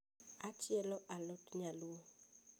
achielo alot nyaluo